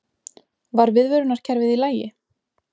Var viðvörunarkerfið í lagi?